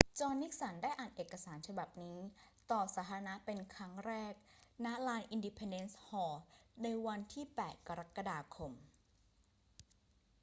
จอห์น นิกสัน ได้อ่านเอกสารฉบับนี้ต่อสาธารณะเป็นครั้งแรก ณ ลาน อินดิเพนเดนซ์ฮอลล์ ในวันที่ 8 กรกฎาคม